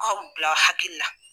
Anw bila hakili la.